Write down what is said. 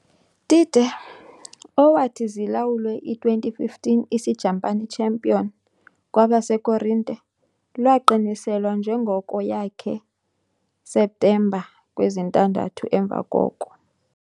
Tite, owathi zilawulwe i - 2015 Isijapani champion Kwabasekorinte, lwaqiniselwa njengoko yakhe septemba kwezintandathu emva koko.